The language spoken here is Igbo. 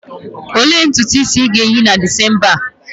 Olee ntutu isi ị ga-eyi na December a?